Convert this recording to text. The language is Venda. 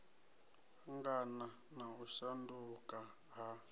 angana na u shanduka ha